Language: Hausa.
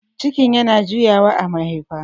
cikin yana juyawa a mahaifa